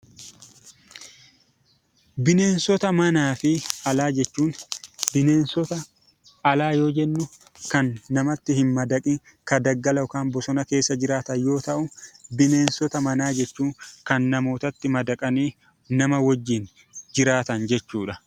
Bineensota manaa fi alaa jechuun bineensota alaa yoo jennu kan namatti hin madaqiin kan daggala keessa yookaan bosona keessa jiraatan yoo ta'u, bineensota manaa jechuun kan namootatti madaqanii nama wajjin jiraatan jechuudha.